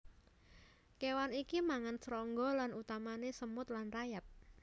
Kéwan iki mangan srangga lan utamané semut lan rayap